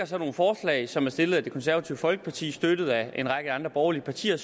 så nogle forslag som er stillet af det konservative folkeparti støttet af en række andre borgerlige partier